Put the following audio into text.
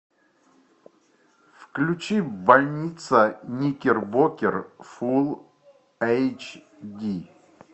включи больница никербокер фул эйч ди